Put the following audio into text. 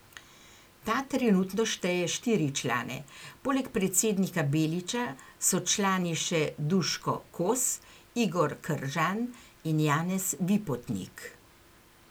Ta trenutno šteje štiri člane, poleg predsednika Beliča so člani še Duško Kos, Igor Kržan in Janez Vipotnik.